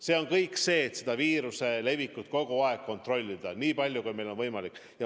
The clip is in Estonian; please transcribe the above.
See on kõik vajalik, et viiruse levikut kogu aeg kontrolli all hoida nii palju, kui meil on võimalik.